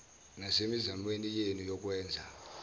nasemizamweni yenu yokwenza